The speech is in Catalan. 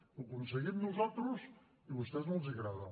ho aconseguim nosaltres i a vostès no els agrada